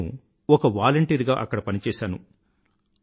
అప్పుడు నేను ఒక వాలంటీరుగా అక్కడ పనిచేసాను